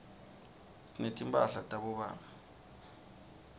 sinetimphala tabobabe